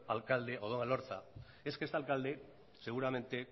alcalde odón elorza es que este alcalde seguramente